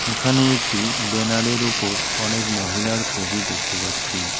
এখানে একটি ব্যানারের ওপর অনেক মহিলার ছবি দেখতে পাচ্ছি।